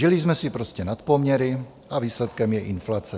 Žili jsme si prostě nad poměry, a výsledkem je inflace.